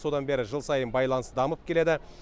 содан бері жыл сайын байланыс дамып келеді